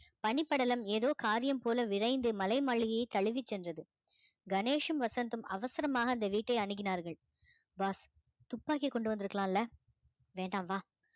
பனிப்படலம் ஏதோ காரியம் போல விரைந்து மலை மாளிகையை தழுவிச் சென்றது கணேஷும் வசந்தும் அவசரமாக அந்த வீட்டை அணுகினார்கள் boss துப்பாக்கி கொண்டு வந்திருக்கலாம்ல வேண்டாம் வா